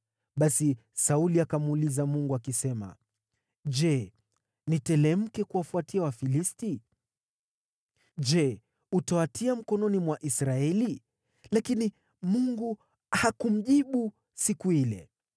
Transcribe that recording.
Basi Sauli akamuuliza Mungu, akisema, “Je, niteremke kuwafuatia Wafilisti? Je, utawatia mikononi mwa Israeli?” Lakini Mungu hakumjibu siku ile.